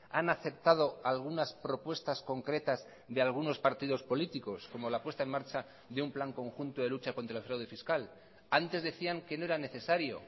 han aceptado algunas propuestas concretas de algunos partidos políticos como la puesta en marcha de un plan conjunto de lucha contra el fraude fiscal antes decían que no era necesario